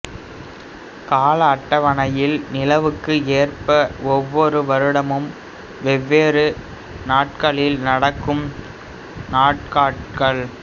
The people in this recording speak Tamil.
கால அட்டவணையில் நிலவுக்கு ஏற்ப ஒவ்வொரு வருடமும் வெவ்வேறு நாட்களில் நடக்கும் நாட்காட்டிகள்